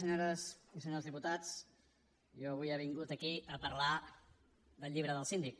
senyores i senyors diputats jo avui he vingut aquí a parlar del llibre del síndic